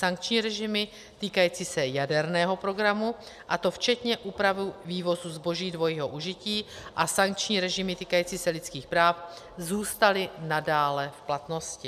Sankční režimy týkající se jaderného programu, a to včetně úpravy vývozu zboží dvojího užití, a sankční režimy týkající se lidských práv zůstaly nadále v platnosti.